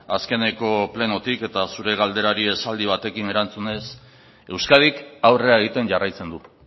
azkeneko plenotik eta zure galderari esaldi batekin erantzunez euskadik aurrera egiten jarraitzen du